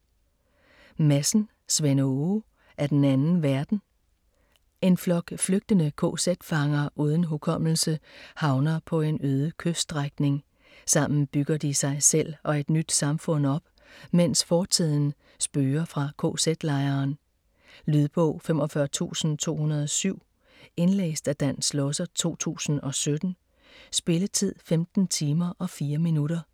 Madsen, Svend Åge: Af den anden verden En flok flygtende kz-fanger uden hukommelse havner på en øde kyststrækning. Sammen bygger de sig selv og et nyt samfund op, mens fortiden spøger fra kz-lejren. Lydbog 45207 Indlæst af Dan Schlosser, 2017. Spilletid: 15 timer, 4 minutter.